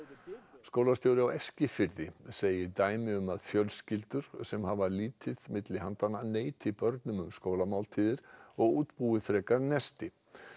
skólastjóri á Eskifirði segir dæmi um að fjölskyldur sem hafa lítið milli handanna neiti börnum um skólamáltíðir og útbúi frekar nesti